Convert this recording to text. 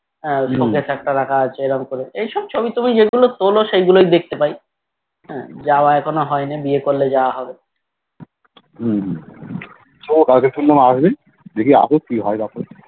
একটা রাখা আছে এরকম কমে এইসব ছবিটবি যে গুলো তলো শেইগুলোই দেখতে পাই হে যাওয়া এখনও হয় নাই বিয়ে করলে যাওয়া হবে